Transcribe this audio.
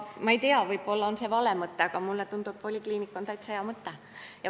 Ma ei tea, võib-olla see on vale, aga mulle tundub, et polikliinik on täitsa hea mõte.